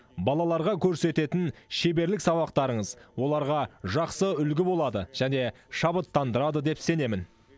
балаларға көрсететін шеберлік сабақтарыңыз оларға жақсы үлгі болады және шабыттандырады деп сенемін